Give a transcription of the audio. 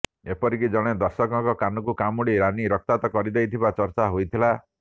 ଏପରିକି ଜଣେ ଦର୍ଶକଙ୍କ କାନକୁ କାମୁଡି ରାନୀ ରକ୍ତାକ୍ତ କରିଦେଇଥିବା ଚର୍ଚ୍ଚା ହୋଇଥିଲା